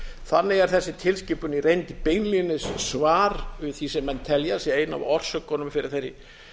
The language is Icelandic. þannig er þessi tilskipun í reynd beinlínis svar við því sem menn telja að sé ein af orsökunum fyrir þeirri